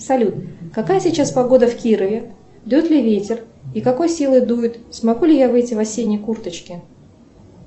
салют какая сейчас погода в кирове дует ли ветер и какой силы дует смогу ли я выйти в осенней курточке